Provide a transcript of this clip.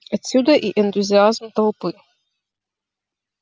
отсюда и энтузиазм толпы